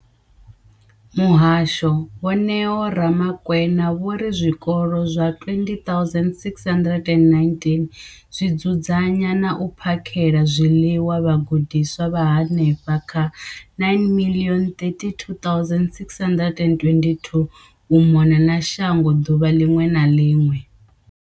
Muhasho, Vho Neo Ramakwena, vho ri zwikolo zwa 20 619 zwi dzudzanya na u phakhela zwiḽiwa vhagudiswa vha henefha kha 9 032 622 u mona na shango ḓuvha ḽiṅwe na ḽiṅwe.